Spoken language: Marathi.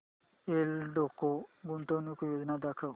एल्डेको गुंतवणूक योजना दाखव